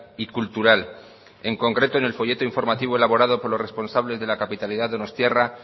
y cultural en concreto en el folleto informativo elaborado por los responsables de la capitalidad donostiarra